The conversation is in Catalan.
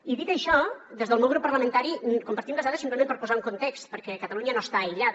i dit això des del meu grup parlamentari compartim les dades simplement per posar les en context perquè catalunya no està aïllada